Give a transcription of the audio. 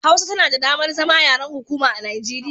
Hausa tana da damar zama yaren hukuma a Nigeriya